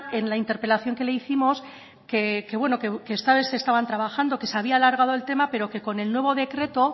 en la interpelación que le hicimos que ustedes estaban trabajando que se había alargado el tema pero que con el nuevo decreto